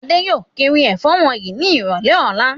Adé yóò kiri ẹ̀fọ́ wọ̀nyí ní ìrọ́lẹ́ ọ̀la.